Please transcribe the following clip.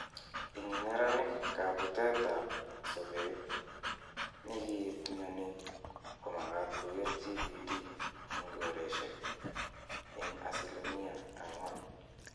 Ing neranik , kaputet ap sopet nekiip mioni ko makat koker GPD ing koreshek ing asilimia 4%.